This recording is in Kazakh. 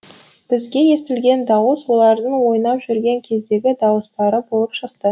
бізге естілген дауыс олардың ойнап жүрген кездегі дауыстары болып шықты